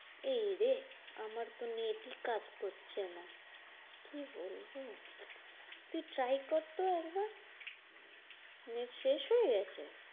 এইরে আমার তো net ই কাজ করছে না। কি বলবো? তুই try করতো একবার। net শেষ হয়ে গেছে?